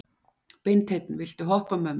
Beinteinn, viltu hoppa með mér?